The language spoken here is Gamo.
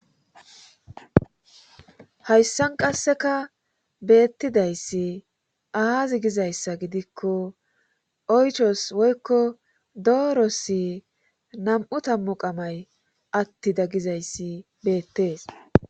hayssan qasseka beettidayssi aazi gizayssa gidikko oychos woykko doorosi nam7u tammu qamay attida gagizayssi beettees